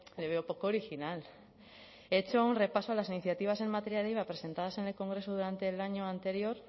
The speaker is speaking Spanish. le veo poco original he hecho un repaso a las iniciativas en materia de iva presentadas en el congreso durante el año anterior